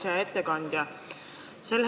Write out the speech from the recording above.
Hea ettekandja!